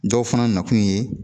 Dɔw fana nakun ye